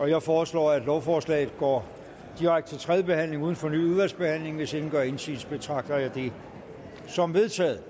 jeg foreslår at lovforslaget går direkte til tredje behandling uden fornyet udvalgsbehandling hvis ingen gør indsigelse betragter jeg det som vedtaget